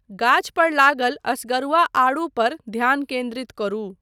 गाछ पर लागल असगरुआ आड़ू पर ध्यान केन्द्रित करू।